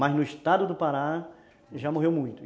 Mas, no estado do Pará, já morreu muito.